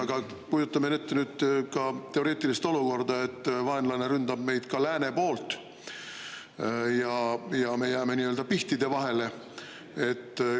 Aga kujutame ette teoreetilist olukorda, et vaenlane ründab meid ka lääne poolt ja me jääme nii-öelda pihtide vahele.